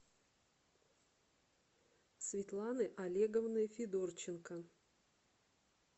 светланы олеговны федорченко